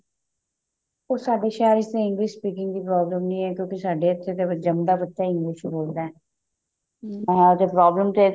ਉਹ ਸਾਡੇ ਸ਼ਹਿਰ ਵਿੱਚ ਤਾਂ english speaking ਦੀ problem ਨਹੀਂ ਹੈ ਸਾਡੇ ਇੱਥੇ ਤਾਂ ਜੰਮਦਾ ਬੱਚਾ english ਬੋਲਦਾ ਹਾਂ ਤੇ problem